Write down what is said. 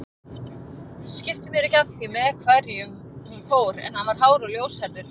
Skipti mér ekki af því með hverjum hún fór en hann var hár og ljóshærður